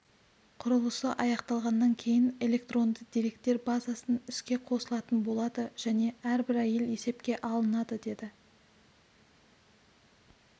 құрылысы аяқталғаннан кейін электронды деректер базасын іске қосылатын болады және әрбір әйел есепке алынады деді